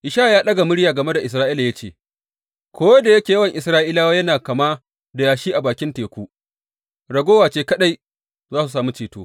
Ishaya ya ɗaga murya game da Isra’ila ya ce, Ko da yake yawan Isra’ilawa yana kama da yashi a bakin teku, ragowa ce kaɗai za su sami ceto.